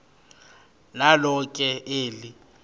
nalo ke eli